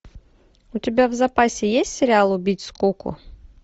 у тебя в запасе есть сериал убить скуку